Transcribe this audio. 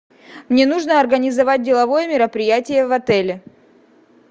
мне нужно организовать деловое мероприятие в отеле